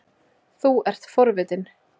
Þú ert forvitinn.